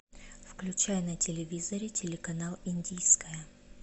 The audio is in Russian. включай на телевизоре телеканал индийское